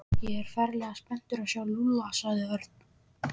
Ég er ferlega spenntur að sjá Lúlla sagði Örn.